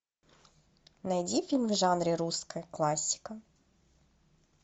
найди фильм в жанре русская классика